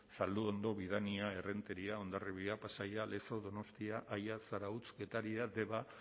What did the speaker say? zalduondo bidania errenteria hondarribia pasaia lezo donostia aia zarautz getaria deba